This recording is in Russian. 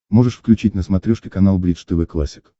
можешь включить на смотрешке канал бридж тв классик